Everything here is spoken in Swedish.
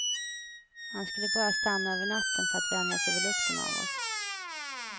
Han skulle bara stanna över natten för att vänja sig vid lukten av oss.